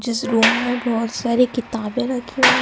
जिस रूम में बहोत सारी किताबें रखी हुई--